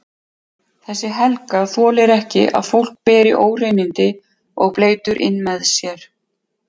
Þessi Helga þolir ekki að fólk beri óhreinindi og bleytu inn með sér.